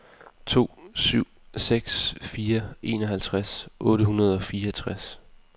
to syv seks fire enoghalvtreds otte hundrede og fireogtres